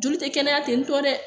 Joli tɛ kɛnɛya te ye dɛ